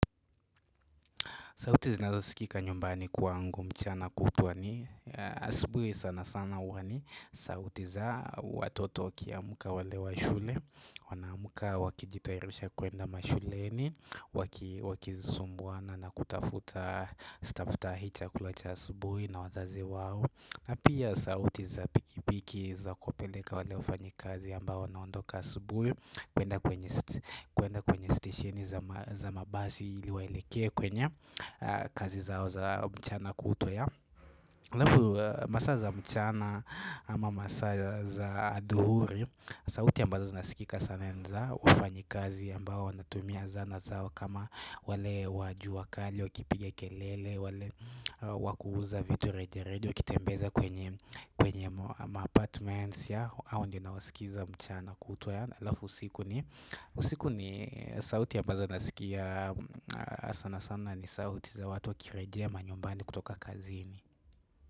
Sauti zinazo sikika nyumbani kwangu mchana kutwa ni asubuhi sana sana huwa ni sauti za watoto wakiamka wale wa shule, wanaamka wakijitairisha kuenda mashuleni wakizisumbuana na nakutafuta staftahi chakula cha asubuhi na wazazi wao. Pia sauti za pikipiki za kuwa peleka wale wafanyi kazi ambao wanaondoka asubuhi kuenda kwenye stesheni za mabasi ili waeleke kwenye kazi zao za mchana kutwa halafu masaa za mchana ama masa za aduhuri sauti ambazo zinasikika sana ni za wafanyi kazi ambao wanatumia sanaa zao kama wale wa jua kali, wakipiga kelele, wale wakuuza vitu reje reje, wakitembeza kwenye maapartments ya hao ndio na wasikiza mchana kutwa halafu usiku ni, usiku ni sauti ya ambazo nasikia sasa sana ni sauti za watu wakirejea manyumbani kutoka kazini.